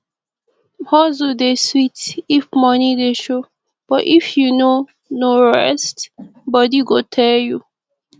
hustle dey sweet if money dey show but if you no no rest body go tell you